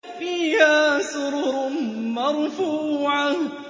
فِيهَا سُرُرٌ مَّرْفُوعَةٌ